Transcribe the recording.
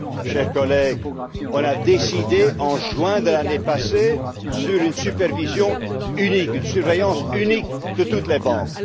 Chers collègues, on s'est prononcé, en juin de l'année passée, en faveur d'une supervision unique, d'une surveillance unique, de toutes les banques.